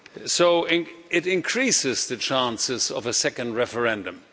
So it increases the chances of a second referendum.